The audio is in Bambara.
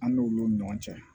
An n'olu ɲɔgɔn cɛ